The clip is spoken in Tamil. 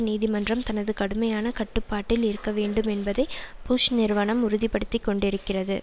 நீதிமன்றம் தனது கடுமையான கட்டுப்பாட்டில் இருக்கவேண்டுமென்பதை புஷ் நிருவனம் உறுதி படுத்தி கொண்டிருக்கிறது